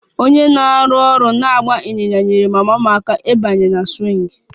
Onye na-arụ ọrụ na-agba ịnyịnya nyeere mama m aka ịbanye na swing